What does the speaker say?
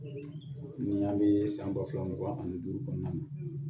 Ni an bɛ san ba fila mugan ani duuru kɔnɔna na